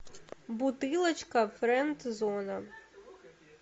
бутылочка френд зона